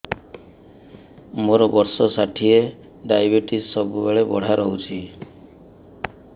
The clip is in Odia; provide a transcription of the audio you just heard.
ମୋର ବର୍ଷ ଷାଠିଏ ଡାଏବେଟିସ ସବୁବେଳ ବଢ଼ା ରହୁଛି